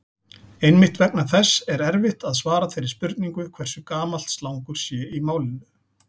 Einmitt vegna þess er erfitt að svara þeirri spurningu hversu gamalt slangur sé í málinu.